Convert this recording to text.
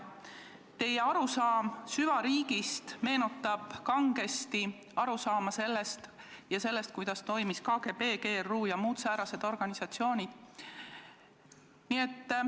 Teie arusaam süvariigist meenutab kangesti seda, kuidas toimisid KGB, GRU ja muud säärased organisatsioonid.